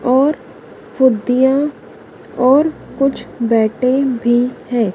और खुद्दीयां और कुछ बैटें भी हैं।